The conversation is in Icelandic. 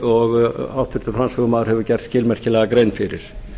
og háttvirtur framsögumaður hefur gert skilmerkilega grein fyrir